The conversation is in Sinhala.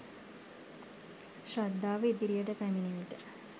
ශ්‍රද්ධාව ඉදිරියට පැමිණි විට